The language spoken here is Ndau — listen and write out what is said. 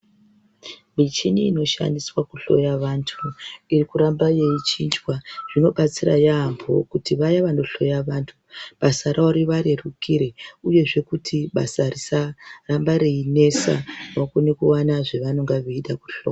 Michini inoshandiswa kuhloya vantu irikuramba yeichinjwa zvinobatsira yaamho kuti vaya vanohloya vantu basa ravo rivarerukire uyezve kuti basa risaramba reinesa vakone kuwana zvavanenge veida kuhlo.